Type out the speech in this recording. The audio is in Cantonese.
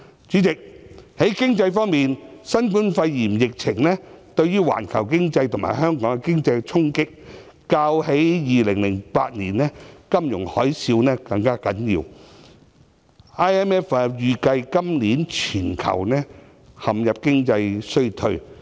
主席，在經濟方面，新冠肺炎疫情對於環球經濟及香港經濟的衝擊，較2008年金融海嘯更嚴重，國際貨幣基金組織預計今年全球陷入經濟衰退。